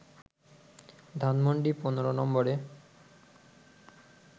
ধানমন্ডি ১৫ নম্বরে